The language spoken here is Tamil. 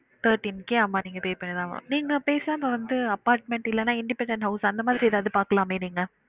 Thirteen K ஆமா நீங்க pay பன்னி தான் ஆகனும், நீங்க பேசாம வந்து apartment இல்லேன independent house அந்த மாரி எதாவுது பாக்கலாமே நீங்க